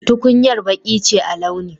Tukuyar Baki ce a launi.